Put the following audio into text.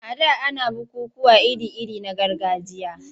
A da ana bukukkuwa iri-iri na gargajiya.